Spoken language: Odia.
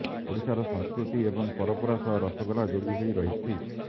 ଓଡ଼ିଶାର ସଂସ୍କୃତି ଏବଂ ପରମ୍ପରା ସହ ରସଗୋଲା ଯୋଡ଼ି ହୋଇ ରହିଛି